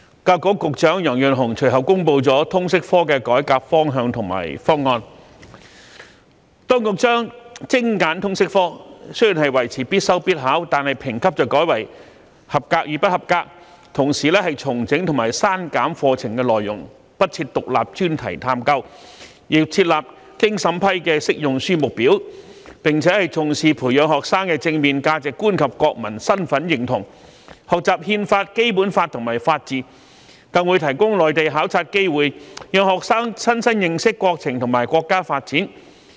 教育局局長楊潤雄隨後公布了通識教育科的改革方向和方案，就是當局將精簡通識科，雖仍維持必修必考，但評級改為"及格"與"不及格"，同時重整及刪減課程內容，不設"獨立專題探究"，又設立經審批的"適用書目表"，並且重視培養學生的正面價值觀及國民身份認同，學習《憲法》、《基本法》和法治，更會提供內地考察機會，讓學生親身認識國情和國家發展。